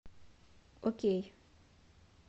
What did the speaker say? окей